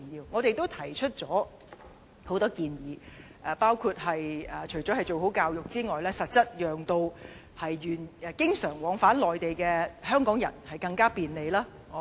我們都提出了許多建議，包括教育之外，也要實質讓經常往返內地的香港人更加便利。